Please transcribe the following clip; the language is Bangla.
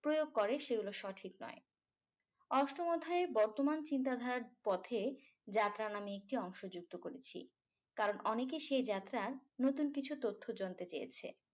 প্রয়োগ করে সেগুলো সঠিক নয় অষ্টম অধ্যায়ে বর্তমান চিন্তাধারার পথে যাত্রা নাম একটি অংশ যুক্ত করেছি কারণ অনেকেই সেই যাত্রার নতুন কিছু তথ্য জানতে চেয়েছে